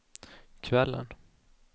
kvällen